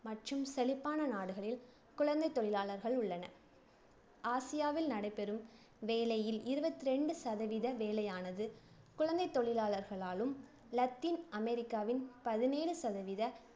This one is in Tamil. மற்றும் செழிப்பான நாடுகளில் குழந்தைத் தொழிலாளர்கள் உள்ளனர ஆசியாவில் நடைபெறும் வேலையில் இருவத்து இரண்டு சதவீத வேலையானது, குழந்தைத் தொழிலாளர்களாலும், லத்தீன் அமெரிக்காவில் பதினேழு சதவீத